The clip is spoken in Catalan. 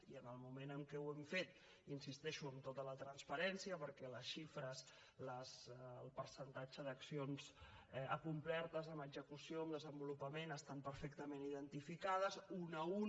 i en el moment en què ho hem fet hi insisteixo amb tota la transparència perquè les xifres el percentatge d’accions acomplertes en execució en desenvolupament estan perfectament identificades una a una